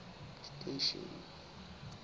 station